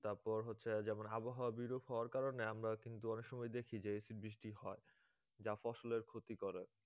তারপর হচ্ছে যেমন আবহাওয়া বিরূপ হবার কারণে আমরা অনেক সময় দেখি যে acid বৃষ্টি হয়, যা ফসলের ক্ষতি করে